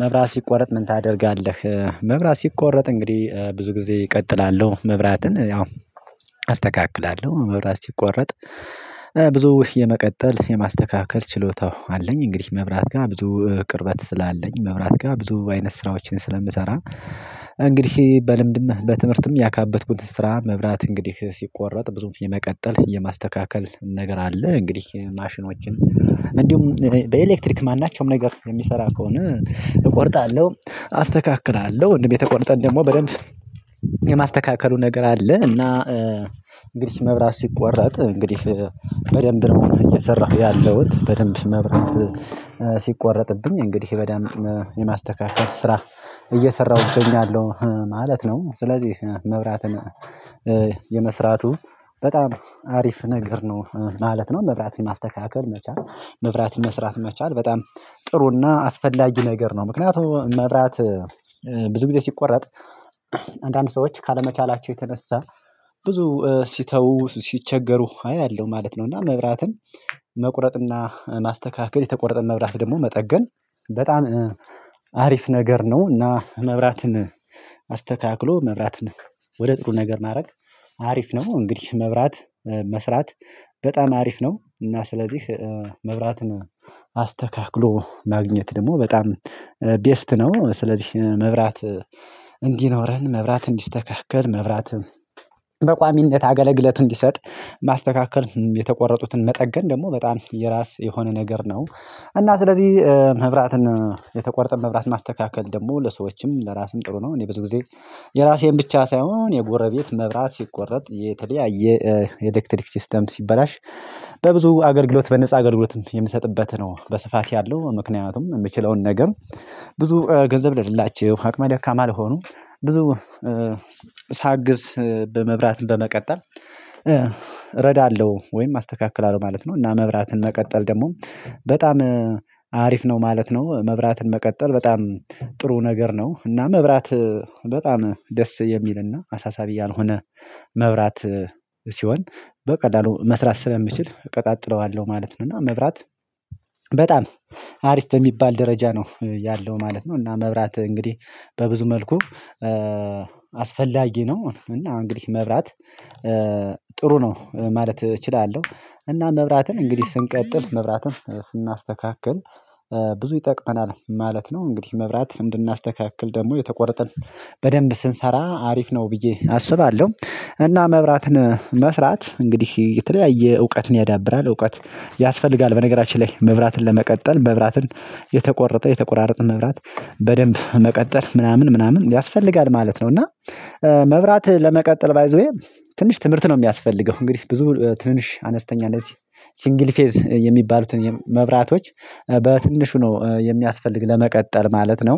መብራት ሲቆረጥ ምን ታደርጋለህ? መብራት ሲቆረጥ እንግዲህ ብዙ ጊዜ እቀጥላለሁ መብራትን ያው አስተካክላለሁ። መብራት ሲቆረጥ ብዙ የመቀጠል የማስተካከል ችሎታው አለኝ እንግዲህ መብራት ጋ ብዙ ቅርበት ስላለኝ መብራት ጋ ብዙ አይነት ስራዎችን ስለምሰራ እንግዲህ በልምድም በትምህርትም ያካበትኩት ስራ መብራት እንግዲህ ሲቆረጥ ብዙ የመቀጠል የማስተካከል ነገር አለ። እንግዲህ ማሽኖችን እንዲሁም በኤሌክትሪክ ማናቸውም ነገር የሚሰራ ከሆነ እቆርጣለሁ አስተካክላለሁ እንዲሁም የተቆረጠን ደግሞ በደንብ የማስተካከሉ ነገር አለ እና እንግዲህ መብራት ሲቆረጥ እንግዲህ በደንብ ነው እየሰራሁ ያለሁት በደንብ መብራት ሲቆረጥብኝ እንግዲህ በደንብ የማስተካከል ስራ እየሰራሁ እገኛለሁ ማለት ነው። ስለዚህ መብራትን የመስራቱ በጣም አሪፍ ነገር ነው ማለት ነው። መብራትን ለማስተካከል መቻል መብራትን መስራት መቻል በጣም ጥሩና አስፈላጊ ነገር ነው። ምክንያቱም መብራት ብዙ ጊዜ ሲቆረጥ አንዳንድ ሰዎች ካለመቻላቸው የተነሳ ብዙ ሲተው ሲቸገሩ አያለሁ ማለት ነው እና መብራትን መቁረጥና ማስተካከል የተቆረጠን መብራት ደግሞ መጠገን በጣም አሪፍ ነገር ነው እና መብራትን አስተካክሎ መብራትን ወደ ጥሩ ነገር ማድረግ አሪፍ ነው። እንግዲህ መብራት መስራት በጣም አሪፍ ነው እና ስለዚህ መብራትን አስተካክሎ ማግኘት ደግሞ በጣም ቤስት ነው። ስለዚህ መብራት እንዲኖረን መብራት እንዲስተካከል መብራት በቋሚነት አገለግሎት እንዲሰጥ የመስራቱ በጣም አሪፍ ነገር ነው ማለት ነው። መብራትን ለማስተካከል መቻል መብራትን መስራት መቻል በጣም ጥሩና አስፈላጊ ነገር ነው። ምክንያቱም መብራት ብዙ ጊዜ ሲቆረጥ አንዳንድ ሰዎች ካለመቻላቸው የተነሳ ብዙ ሲተው ሲቸገሩ አያለሁ ማለት ነው እና መብራትን የራሴን ብቻ ሳይሆን የጎረቤት መብራት ሲቆረጥ የተለያየ ኤሌክትሪክ ሲስተም ሲበላሽ በብዙ አገልግሎት በነፃ አገልግሎትም የምሰጥበት ነው በስፋት ያለው ምክንያቱም የምችለውን ነገር ብዙ ገንዘብ ለሌላቸው አቅመ ደካማ ለሆኑ ብዙ ሳግዝ በመብራትን በመቀጠል እረዳለሁ ወይም አስተካክላለሁ ማለት ነው እና መብራትን መቀጠል ደግሞ በጣም አሪፍ ነው ማለት ነው። መብራትን መቀጠል በጣም ጥሩ ነገር ነው እና መብራት በጣም ደስ የሚልና አሳሳቢ ያልሆነ መብራት ሲሆን በቀላሉ መስራት ስለምችል እቀጣጥለዋለሁ ማለት ነው እና መብራት በጣም አሪፍ በሚባል ደረጃ ነው ያለው ማለት ነው እና መብራት እንግዲህ በብዙ መልኩ አስፈላጊ ነው እና እንግዲህ መብራት ነው ማለት እችላለሁ እና መብራትን እንግዲህ ስንቀጥፍ መብራትን ስናስተካክል ብዙ ይጠቅመናል ማለት ነው። እንግዲህ መብራት እንድናስተካክል ደግሞ የተቆረጠን በደንብ ስንሰራ አሪፍ ነው ብዬ አስባለሁ እና መብራትን መስራት እንግዲህ የተለያየ እውቀትን ያዳብራል እውቀት ያስፈልጋል በነገራችን ላይ መብራትን ለመቀጠል መብራትን የተቆረጠ የተቆራረጠ መብራት በደንብ መቀጠል ምናምን ምናምን ያስፈልጋል ማለት ነው እና መብራት ለመቀጠል ባይ ዘ ዌይ ትንሽ ትምህርት ነው የሚያስፈልገው። እንግዲህ ብዙ ትንሽ አነስተኛ እንደዚህ ሲንግል ፌዝ የሚባሉትን መብራቶች በትንሹ ነው የሚያስፈልግ ለመቀጠል ማለት ነው።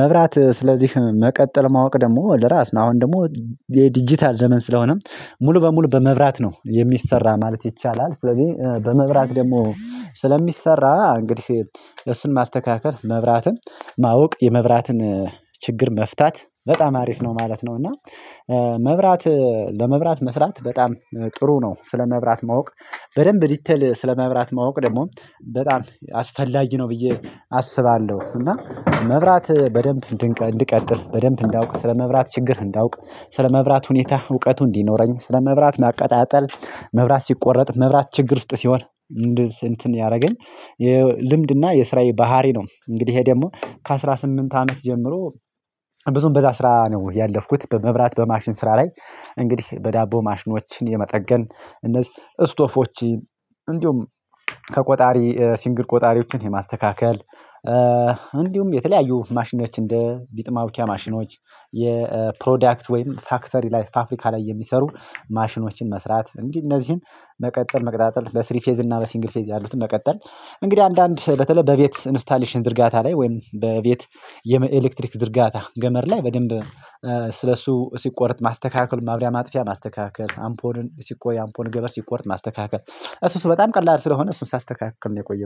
መብራት ስለዚህ መቀጠል ማወቅ ደግሞ ለራስ ነው። አሁን ደግሞ የዲጂታል ዘመን ስለሆነም ሙሉ በሙሉ በመብራት ነው የሚሰራ ማለት ይቻላል። ስለዚህ በመብራት ደግሞ ስለሚሰራ እንግዲህ እሱን ማስተካከል መብራትን ማወቅ የመብራትን ችግር መፍታት በጣም አሪፍ ነው ማለት ነው እና መብራት ለመብራት መስራት በጣም ጥሩ ነው። ስለመብራት ማወቅ በደንብ ዲቴል ስለመብራት ማወቅ ደግሞ በጣም አስፈላጊ ነው ብዬ አስባለሁ እና መብራት በደንብ እንድቀጥል በደንብ እንዳውቅ፤ ስለመብራት ችግር እንዳውቅ፤ ስለመብራት ሁኔታ እውቀቱ እንዲኖረኝ፤ ስለመብራት ማቀጣጠል መብራት ሲቆረጥ፤ መብራት ችግር ውስጥ ሲሆን እንደዚህ እንትን ያደረገኝ የልምድና የስራዬ ባህሪ ነው። እንግዲህ ይሄ ደግሞ ከአስራ ስምንት አመት ጀምሮ ብዙም በዛ ስራ ነው ያለፍኩት። በመብራት በማሽን ስራ ላይ እንግዲህ በዳቦ ማሽኖችን የመጠገን እነዚህ ስቶፎች እንዲሁም ከቆጣሪ ሲንግል ቆጣሪዎችን የማስተካከል እንዲሁም የተለያዩ ማሽኖች እንደ ሊጥ ማቡኪያ ማሽኖች የፕሮዳክት ወይም ፋክተሪ ላይ ፋብሪካ ላይ የሚሰሩ ማሽኖችን መስራት እንዲ እነዚህን መቀጠል መቀጣጠል በስሪ ፌዝ እና በሲንግል ፌዝ ያሉትን መቀጠል እንግዲህ አንዳንድ በተለይ በቤት ኢንስታሌሽን ዝርጋታ ላይ ወይም በቤት የኤሌክትሪክ ዝርጋታ ገመድ ላይ በደንብ ስለእሱ ሲቆረጥ ማስተካከል፤ ማብሪያ ማጥፊያ ማስተካከል፤ አምፖሉን ሲቆይ አምፖሉን ገመድ ሲቆረጥ ማስተካከል እሱ እሱ በጣም ቀላል ስለሆነ እሱን ሳስተካክል ነው የቆየሁት